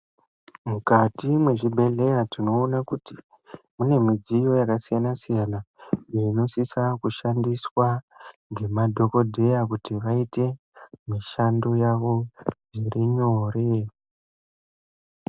Mukati mwechibhehleya tinoona kuti mune midziyo yakasiyanasiyana iyo inosisa kushandiswa ngemadhokodheya kuti vaite mishando yavo zvirinyore.